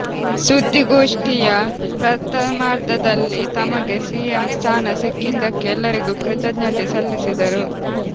ಸುದ್ದಿಗೋಷ್ಠಿಂುು ಪ್ರಥಮಾರ್ಧದಲ್ಲಿ ತಮಗೆ ಸಿಎಂ ಸ್ಥಾನ ಸಿಕ್ಕಿದ್ದಕ್ಕೆ ಎಲ್ಲರಿಗೂ ಕೃತಜ್ಞತೆ ಸಲ್ಲಿಸಿದರು